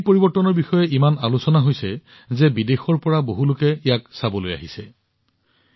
এই পৰিৱৰ্তনৰ বিষয়ে ইমানেই আলোচনা হৈছে যে বিদেশৰ পৰা বহুলোকে ইয়াক চাবলৈ আহিছে